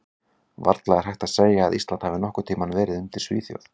Varla er hægt að segja að Ísland hafi nokkurn tímann verið undir Svíþjóð.